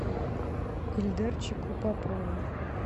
ильдарчику попову